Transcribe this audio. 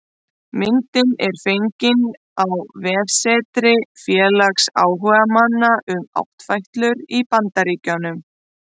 Myndin er fengin á vefsetri félags áhugamanna um áttfætlur í Bandaríkjunum